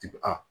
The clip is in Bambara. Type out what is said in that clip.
Jigi